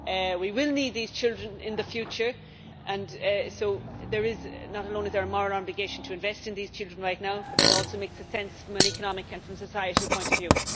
We will need these children in the future, and so there is not only a moral obligation to invest in these children right now, but it also makes sense from an economic and a societal point of view.